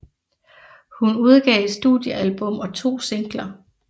Hun udgav et studiealbum og to singler